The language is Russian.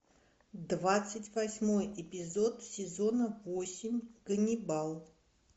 двадцать восьмой эпизод сезона восемь ганибал